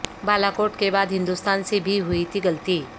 بالاکوٹ کے بعد ہندوستان سے بھی ہوئی تھی غلطی